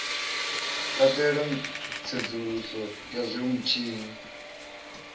katela tsedzuluso ya zwe vhutshinyi